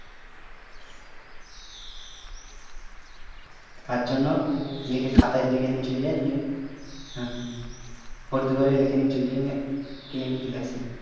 তার জন্য খাতায় লিখে নিয়ে চলে যাই নিয়ে ফর্দ করে লিখে নিয়ে চল যেয়ে নিয়ে কিনে নিয়ে চলে আসি